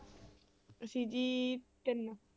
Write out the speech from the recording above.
ਅਸੀਂ ਜੀ ਤਿੰਨ।